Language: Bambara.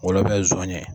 Wula bɛɛ ye zon ye